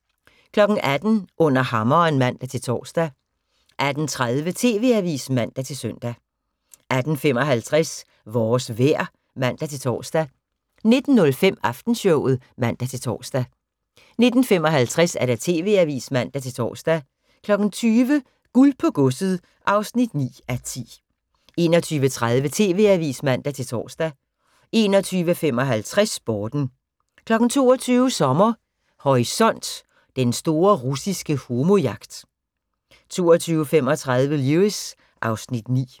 18:00: Under hammeren (man-tor) 18:30: TV-avisen (man-søn) 18:55: Vores vejr (man-tor) 19:05: Aftenshowet (man-tor) 19:55: TV-avisen (man-tor) 20:00: Guld på godset (9:10) 21:30: TV-avisen (man-tor) 21:55: Sporten 22:00: Sommer Horisont: Den store russiske homo-jagt 22:35: Lewis (Afs. 9)